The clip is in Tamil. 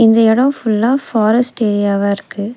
இந்த எடம் ஃபுல்லா ஃபாரஸ்ட் ஏரியாவா இருக்கு.